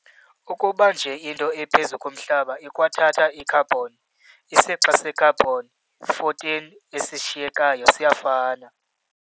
Ukuba nje into iphezu komhlaba ikwathatha i-carbon, isixa se-carbon-14 esishiyekayo siyafana.